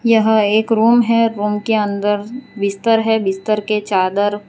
यह एक रूम है रूम के अंदर बिस्तर है बिस्तर के चादर --